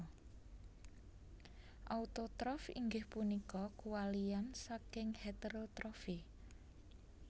Autotrof inggih punika kuwalian saking heterotrophy